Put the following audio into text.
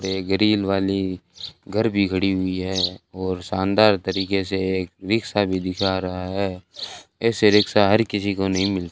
grill वाली घर भी खड़ी हुई है और शानदार तरीके से एक रिक्शा भी दिखा रहा है ऐसे रिक्शा हर किसी को नहीं मिल --